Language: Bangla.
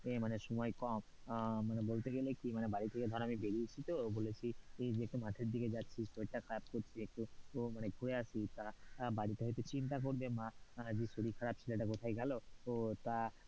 মানে সময় কম আহ মানে বলতে গেলে কি না বাড়ি থেকে ধর আমি বেরিয়েছি তো বলেছি যে একটু মাঠে দিকে যাচ্ছি শরীরটা খারাপ করছে একটু মানে ঘুরে আসি, বাড়িতে হয়তো চিন্তা করবে মা যে শরীর খারাপ ছেলেটা কোথায় গেল তো তা,